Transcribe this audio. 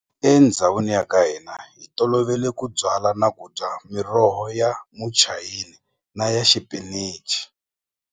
Endhawini ya ka hina hi tolovele ku byala na ku miroho ya muchayina na ya xipinichi.